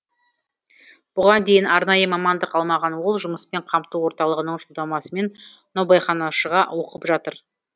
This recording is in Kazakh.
бұған дейін арнайы мамандық алмаған ол жұмыспен қамту орталығының жолдамасымен наубайханашыға оқып жатыр